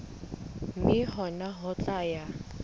mme hona ho tla ya